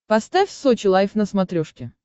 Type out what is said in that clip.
поставь сочи лайв на смотрешке